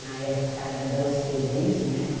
Na época era dancing dance, né?